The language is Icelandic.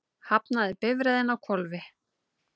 Hafnaði bifreiðin á hvolfi